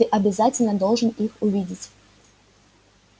ты обязательно должен их увидеть